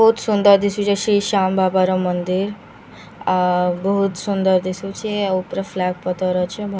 ବହୁତ୍ ସୁନ୍ଦର ଦିଶୁଛେ ଶ୍ରୀ ଶ୍ୟାମ୍‌ ବାବା ର ମନ୍ଦିର୍‌ ଅ ବହୁତ୍ ସୁନ୍ଦର୍ ଦିଶୁଛେ ଆଉ ପୁରା ଫ୍ଲାଗ୍‌ ପତର୍‌ ଅଛେ --